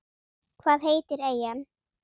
Hvað heitir eyjan?